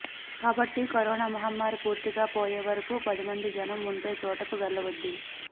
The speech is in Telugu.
కాబట్టి కరోనా మహమ్మారి పూర్తిగా పోయేవరకూ పదిమంది జనం ఉండే చోటుకు వెళ్ళవద్దు